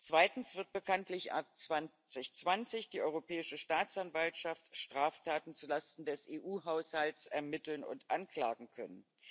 Zweitens wird bekanntlich ab 2020 die Europäische Staatsanwaltschaft Straftaten zu Lasten des EU Haushalts ermitteln und anklagen können.